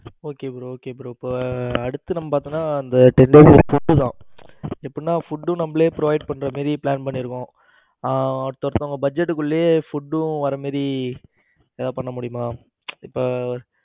okay bro okay bro இப்ப அடுத்து நம்ம பாத்தீங்கனா ten days க்கு food தான் எப்படினா food நம்மளே provide பண்ற மாதிரி plan பண்ணி இருக்கோம். ஆ பசங்க budget குள்ளையே food டும் வர்ற மாதிரி ஏதாவது பண்ண முடியுமா இப்ப